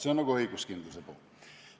See on õiguskindluse poole kohta.